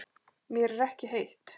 Mér er ekki heitt.